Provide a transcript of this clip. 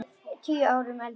Tíu árum eldri en við.